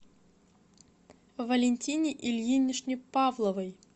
валентине ильиничне павловой